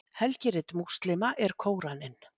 helgirit múslíma er kóraninn